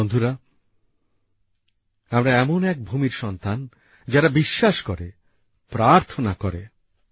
বন্ধুরা আমরা এমন এক ভূমির সন্তান যারা বিশ্বাস করে প্রার্থনা করেঃ